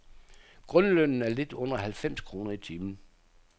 Grundlønnen er lidt under halvfems kroner i timen.